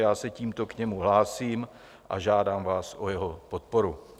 Já se tímto k němu hlásím a žádám vás o jeho podporu.